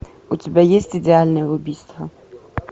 у тебя есть идеальное убийство